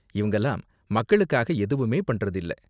இவங்கலாம் மக்களுக்காக எதுவுமே பண்றது இல்ல.